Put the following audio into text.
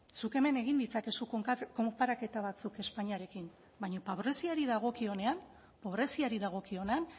zuk hemen egin ditzakezu konparaketa batzuk espainiarekin baina pobreziari dagokionean pobreziari dagokionean